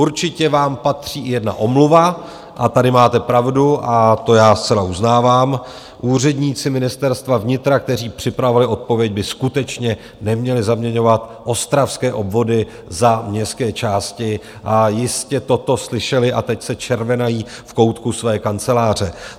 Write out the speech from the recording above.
Určitě vám patří i jedna omluva, a tady máte pravdu a to já zcela uznávám, úředníci Ministerstva vnitra, kteří připravovali odpověď, by skutečně neměli zaměňovat ostravské obvody za městské části, a jistě toto slyšeli a teď se červenají v koutku své kanceláře.